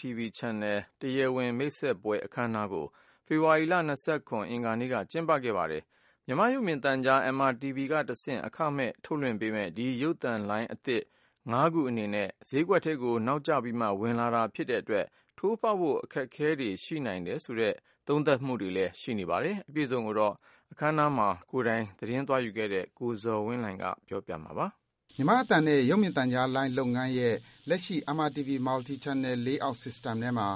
TV Channel တရားဝင် မိတ်ဆက်ခြင်း အခမ်းအနားကို ဖေဖော်ဝါရီလ ၂၇ ရက်၊ အင်္ဂါနေ့က ကျင်းပခဲ့ပါတယ်။ မြန်မာ့ရုပ်မြင်သံကြား MRTV ကတဆင့် အခမဲ့ ထုတ်လွှင့်ပေးမယ့် ဒီ ရုပ်သံလိုင်းအသစ် ၅ ခု အနေနဲ့ ဈေးကွက်ဈေးကွက်ထဲကို နောက်ကျပြီးမှ ဝင်လာတာဖြစ်တဲ့အတွက် ထိုးဖောက်ဖို့ အခက်အခဲတွေ ရှိနိုင်တယ်ဆိုတဲ့ သုံးသပ် ပြောဆိုမှုတွေလည်း ရှိနေပါတယ်။ အပြည့်အစုံကိုတော့ အခမ်းအနားမှာ ကိုယ်တိုင် သတင်းသွားယူခဲ့တဲ့ ကိုဇော်ဝင်းလှိုင်က တင်ပြပေးပါမယ်။ မြန်မာ့အသံနဲ့ ရုပ်မြင်သံကြားလုပ်ငန်းရဲ့ လက်ရှိ MRTV Multi Channel Playout System ထဲမှာ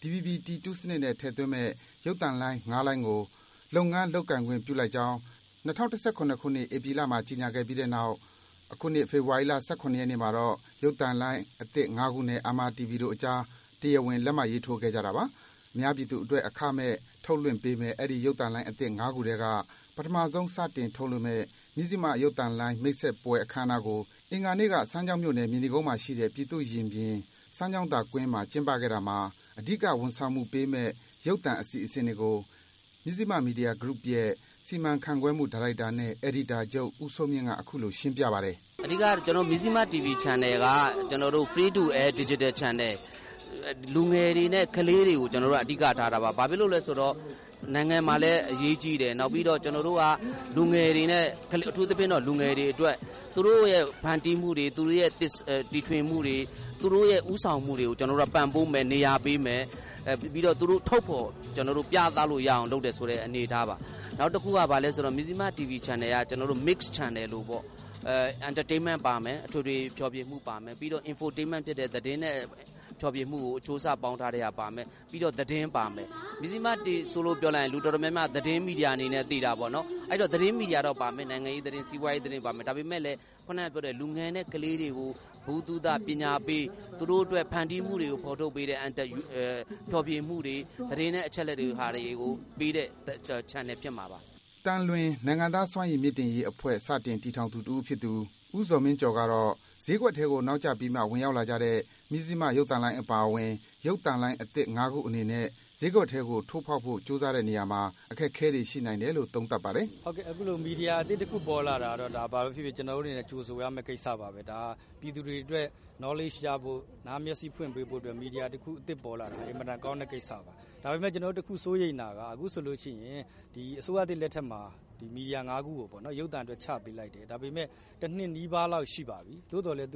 DVB-T2 စနစ်နဲ့ ထည့်သွင်းမယ့် ရုပ်သံလိုင်း ၅ လိုင်းကို လုပ်ငန်း လုပ်ကိုင်ခွင့်ပြုလိုက်ကြောင်း ၂၀၁၇ ခုနှစ်၊ ဧပြီလမှာ ကြေညာခဲ့ပြီးတဲ့နောက် အခုနှစ် ဖေဖော်ဝါရီလ ၁၇ ရက်နေ့မှာတော့ ရုပ်သံလိုင်းသစ်ငါးခုနဲ့ MRTV တို့အကြား တရားဝင် လက်မှတ်ရေးထိုးခဲ့ကြတာပါ။ အများပြည်သူအတွက် အခမဲ့ ထုတ်လွှင့်ပေးမယ့် အဲဒီ ရုပ်သံလိုင်းအသစ် ၅ ခုထဲက ပထမဆုံး စတင်ထုတ်လွှင့်မယ့် မဇ္ဈိမရုပ်သံလိုင်း မိတ်ဆက်ပွဲ အခမ်းအနားကို အင်္ဂါနေ့က စမ်းချောင်းမြို့၊ မြေနီကုန်းမှာရှိတဲ့ ပြည်သူ့ရင်ပြင်၊ စမ်းချောင်းသာကွင်းမှာ ကျင်းပခဲ့တာမှာ အဓိက ဝန်ဆောင်မှုပေးမယ့် ရုပ်သံအစီအစဉ်တွေကို မဇ္ဈိမမီဒီယာဂရုရဲ့ စီမံခန့်ခွဲမှုဒါရိုက်တာနဲ့ အယ်ဒီတာချုပ် ဦးစိုးမြင့်က အခုလို ရှင်းပြပါတယ်။ "အဓိက ကျနော်တို့ မဇ္ဈိမ TV Channel က Free to Air Digital Channel ။ လူငယ်တွေနဲ့ ကလေးတွေကို ကျနော်တို့က အဓိကထားတာပါ။ ဘာဖြစ်လို့လဲဆိုတော့ နိုင်ငံမှာလည်း အရေးကြီးတယ်၊ နောက်ပြီးတော့ ကျနော်တို့က လူငယ်တွေနဲ့၊ အထူးသဖြင့်တော့ လူငယ်တွေအတွက် သူတို့ရဲ့ ဖန်တီးမှုတွေ၊ သူတို့ရဲ့ တီထွင်မှုတွေ၊ သူတို့ရဲ့ ဦးဆောင်မှုတွေကို ကျနော်တို့က ပံ့ပိုးမယ်၊ နေရာပေးမယ်။ ပြီးတော့ သူတို့ ထုတ်ဖော် ပြသလို့ရအောင် လုပ်တယ်ဆိုတဲ့ အနေအထားပါ။ နောက်တခုက ဘာလဲဆိုတော့ ကျနော်တို့ မဇ္ဈိမ TV Channel က Mix Channel လိုပေါ့၊ Entertainment - အထွေထွေ ဖျော်ဖြေမှုပါမယ်၊ နောက်ပြီးတော့ Infotainment ဖြစ်တဲ့ သတင်းနဲ့ ဖျော်ဖြေမှုကို အချိုးအစား ပေါင်းထားတဲ့ဟာ ပါမယ်၊ ပြီးတော့ သတင်းပါမယ်။ မဇ္ဈိမလို့ ပြောလိုက်ရင် လူတော်တော်များများက သတင်းမီဒီယာ အနေနဲ့ သိတာပေါ့နော်။ အဲဒီတော့ သတင်းမီဒီယာတော့ ပါမယ်။ နိုင်ငံရေးသတင်း၊ စီးပွားရေးသတင်း ပါမယ်။ ဒါပေမယ့်လည်း ဒါပေမယ့်လည်း ခုနကပြောတဲ့ လူငယ်နဲ့ ကလေးတွေကို ဗဟုသုတ၊ ပညာပေး၊ သူတို့အတွက် ဖန်တီးမှုတွေကို ဖော်ထုတ်ပေးတဲ့ ဖျော်ဖြေမှုတွေ၊ သတင်းနဲ့ အချက်အလက်တွေကို ပေးတဲ့ Channel ဖြစ်မှာပါ။" သံလွင် - နိုင်ငံသားစွမ်းရည်မြင့်တင်ရေးအဖွဲ့ စတင်တည်ထောင်သူ တဦးဖြစ်သူ ဦးဇော်မင်းကျော်ကတော့ - ဈေးကွက်ထဲကို နောက်ကျပြီးမှ ဝင်ရောက်လာကြတဲ့ မဇ္ဈိမရုပ်သံလိုင်းအပါအဝင် ရုပ်သံလိုင်းအသစ် ၅ ခုအနေနဲ့ ဈေးကွက်ထဲကိုထိုးဖောက်ဖို့ ကြိုးစားတဲ့နေရာမှာ အခက်အခဲတွေ ရှိနိုင်တယ်လို့ သုံးသပ်ပါတယ်။ "အခုလို မီဒီယာအသစ်တခု ပေါ်လာတာကတော့ ဒါ ဘာဘဲဖြစ်ဖြစ် ကျနော်တို့အနေနဲ့ ကြိုဆိုရမယ့် ကိစ္စပါဘဲ။ ဒါက ပြည်သူတွေအတွက် Knowledge ရဖို့၊ နားမျက်စေ့ ဖွင့်ပေးဖို့အတွက် မီဒီယာအသစ်တခု ပေါ်လာတာ အင်မတန် ကောင်းတဲ့ကိစ္စပါ။ ဒါပေမယ့် ကျနော်တို့ တခုစိုးရိမ်တာက အခုဆိုလိုရှိရင် ဒီ အစိုးရသစ် လက်ထက်မှာ ဒီ မီဒီယာ ၅ ခုကိုပေါ့နော် ရုပ်သံအတွက် ချပေးလိုက်တယ်။ ဒါပေမယ့် တနှစ်နီးပါးလောက် ရှိပါပြီ။ သို့သော်လည်း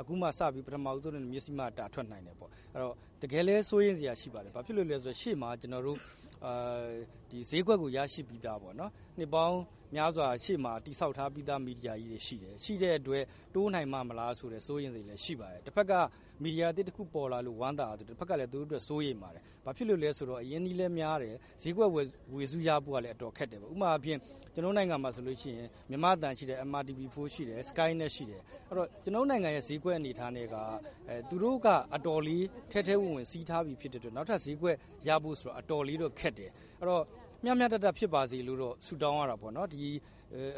အခုမှ ပထမဦးဆုံးအနေနဲ့ မဇ္ဈိမက တာထွက်နိုင်တယ်ပေါ့။ အဲဒီတော့ တကယ်လဲ စိုးရိမ်စရာ ဖြစ်ပါတယ်။ ဘာဖြစ်လို့လည်းဆိုတော့ ရှေ့မှာ ဈေးကွက်ကို ရရှိပြီးသားပေါ့နော်၊ နှစ်ပေါင်းများစွာ ရှေ့မှာ တည်ဆောက် ထားပြီးသား မီဒီယာကြီးတွေ ရှိတယ်။ ရှိတဲ့အတွက် တိုးနိုင်ပါ့မလားဆိုတဲ့ စိုးရိမ်စိတ်လည်း ရှိပါတယ်။ တဘက်က မီဒီယာအသစ်တခု ပေါ်လာလို့ ဝမ်းသာရသလို တဘက်ကလည်း သူတို့အတွက် စိုးရိမ်ပါတယ်။ ဘာဖြစ်လို့လဲဆိုတော့ အရင်းအနှီးလည်း များတယ်၊ ဈေးကွက် ဝေစုရဖို့ကလည်း အတော်ခက်တယ်ပေါ့။ ဥပမာအားဖြင့် ကျနော်တို့ နိုင်ငံမှာဆိုလို့ရှိရင် မြန်မာ့အသံရှိတယ်၊ MRTV 4 ရှိတယ်၊ SkyNet ရှိတယ်။ အဲဒီတော့ ကျနော်တို့နိုင်ငံရဲ့ ဈေးကွက် အနေအထားနဲ့က သူတို့က အတော်လေး ထဲထဲဝင်ဝင် စီးထားပြီး ဖြစ်တဲ့အတွက် နောက်ထပ် ဈေးကွက်ရဖို့ဆိုတာ အတော်လေးတော့ ခက်တယ်။ အဲဒီတော့ မျှမျှတတဖြစ်ပါစေလို့တော့ ဆုတောင်းရတာပေါ့နော်။ ဒီ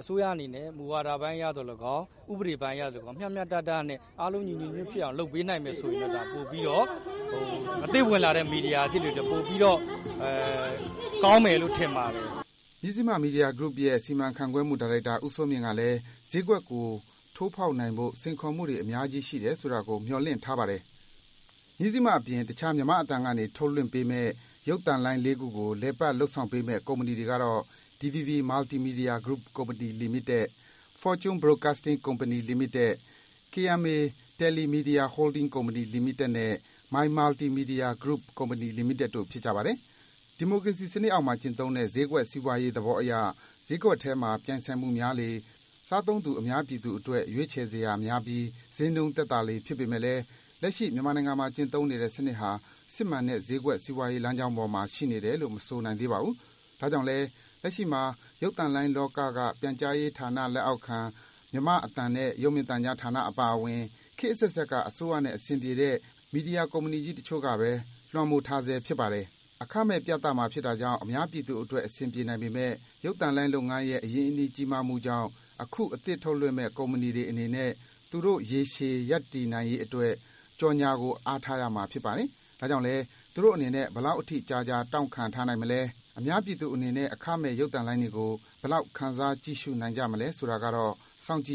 အစိုးရအနေနဲ့ မူဝါဒပိုင်းအရသော်၎င်း၊ ဥပဒေပိုင်းအရသော်၎င်း မျှမျှတတနဲ့ အားလုံး ညီညီညွတ်ညွတ်ဖြစ်အောင် လုပ်ပေးနိုင်မယ် ဆိုရင်တော့ ဒါ ပိုပြီးတော့၊ အသစ်ဝင်လာတဲ့ မီဒီယာ အသစ်တွေအတွက် ပိုပြီးတော့ ကောင်းမယ်လို့ ထင်ပါတယ်။" မဇ္ဈိမမီဒီယာဂရုရဲ့ စီမံခန့်ခွဲမှုဒါရိုက်တာ ဦးစိုးမြင့်ကလည်း ဈေးကွက်ကို ထိုးဖော်နိုင်ဖို့ စိန်ခေါ်မှုတွေ များကြီးရှိနိုင်တယ်ဆိုတာကို မျှော်လင့်ထားပါတယ်။ မဇ္ဈိမအပြင် တခြား မြန်မာ့အသံကနေ ထုတ်လွှင့်ပေးမယ့် ရုပ်သံလိုင်း လေးခုကို လည်ပတ် လုပ်ဆောင်ပေးမယ့် ကုမ္ပဏီတွေကတော့ - DVB Multimedia Group Company Limited ၊ Fortune Broadcasting Company Limited ၊ KMA TeleMedia Holdings Company Limited နဲ့ My Multi Media Group Company Limited တို့ဖြစ်ပါတယ်။ ဒီမိုကရေစီစံနစ်အောက်မှာ ကျင့်သုံးတဲ့ ဈေးကွက်စီးပွားရေး သဘောအရ ဈေးကွက်ထဲမှာ ပြိုင်ဆိုင်မှုများလေ စားသုံးသူ အများပြည်အတွက် ရွေးချယ်စရာများပြီး ဈေးနှုန်းသက်သာလေ ဖြစ်ပေမယ့်လည်း လက်ရှိ မြန်မာနိုင်ငံမှာ ကျင့်သုံးနေတဲ့ စံနစ်ဟာ စစ်မှန်တဲ့ ဈေးကွက် စီးပွားရေး လမ်းကြောင်းပေါ်မှာ ရှိနေတယ်လို့ မဆိုနိုင်သေးပါဘူး။ ဒါကြောင့်လည်း လက်ရှိမှာ ရုပ်သံလိုင်းလောက ပြန်ကြားရေးဌာန လက်အောက်ခံ မြန်မာ့အသံနဲ့ ရုပ်မြင်သံကြား ဌာနအပါအဝင် ခေတ်အဆက်ဆက်က အစိုးရနဲ့ အဆင်ပြေတဲ့ မီဒီယာကုမ္ပဏီကြီးက တချို့ကဘဲ လွမ်းမိုးထားဆဲ ဖြစ်ပါတယ်။ အခမဲ့ ပြသမှာဖြစ်တာကြောင့် အများပြည်သူအတွက် အဆင်ပြေနိုင်ပေမယ့် ရုပ်သံလုပ်ငန်းရဲ့ အရင်းအနှီး ကြီးမားမှုကြောင့် အခု အသစ်ထုတ်လွှင့်မယ့် ကုမ္ပဏီတွေအနေနဲ့ သူတို့ ရေရှည် ရပ်တည်ရေးအတွက် ကြော်ညာကို အားထားရမှာ ဖြစ်ပါတယ်။ ဒါကြောင့်လည်း သူတို့အနေနဲ့ ဘယ်လောက်အထိ ကြာကြာ တောင့်ခံထားနိုင်မလဲ၊ အများပြည်သူအနေနဲ့ အခမဲ့ ရုပ်သံလိုင်းတွေကို ဘယ်လောက် ခံစား ကြည့်ရှုနိုင်ကြမလဲဆိုတာကတော့ စောင့်ကြည့်